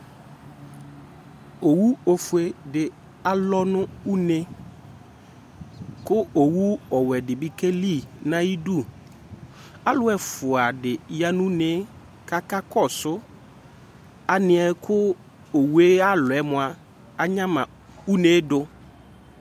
Owu ofue dɩ alɔ nʋ une, kʋ owu ɔwɛ dɩ bɩ okeli nʋ ayʋ idu Alʋ ɛfʋa dɩ ya nʋ une yɛ, kʋ akakɔsʋ alɛna yɛ kʋ owu yɛ yalɔ yɛ mʋa, anyama une yɛ dʋ